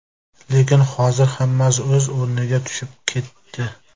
Lekin hozir hammasi o‘z o‘rniga tushib ketdi.